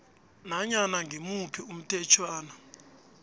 nanyana ngimuphi umthetjhwana